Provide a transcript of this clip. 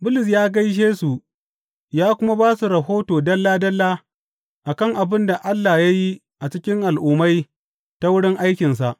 Bulus ya gaishe su ya kuma ba su rahoto dalla dalla a kan abin da Allah ya yi a cikin Al’ummai ta wurin aikinsa.